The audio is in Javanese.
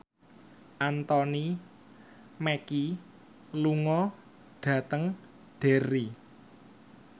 Anthony Mackie lunga dhateng Derry